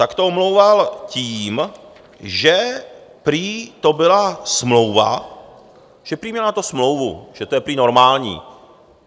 Tak to omlouval tím, že prý to byla smlouva, že prý měl na to smlouvu, že to je prý normální.